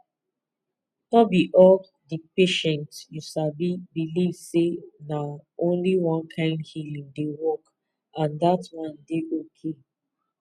no be all the patient you sabi believe say na only one kind healing dey work and that one dey okay